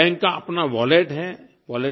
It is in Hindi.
हर बैंक का अपना वॉलेट है